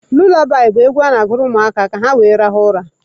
Lulabaị bụ egwu a na-agụrụ ụmụaka ka were rahụọ ụra.